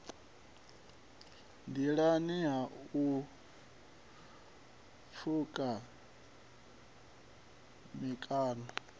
nḓilani ha u pfuka mikano